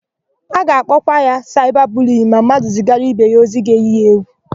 A ga-akpọkwa ya saịba buliyin ma mmadụ zigara ibe ya ozi ga-èyí ya égwù.